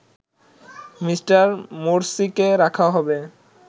Me. মোরসিকে রাখা হবে